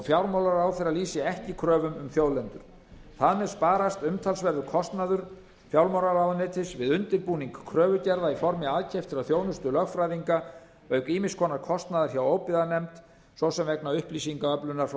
fjármálaráðherra lýsi ekki kröfum um þjóðlendur þar með sparast umtalsverður kostnaður fjármálaráðuneytis við undirbúning kröfugerða í formi aðkeyptrar þjónustu lögfræðinga auk ýmiss konar kostnaðar hjá óbyggðanefnd svo sem vegna upplýsingaöflunar frá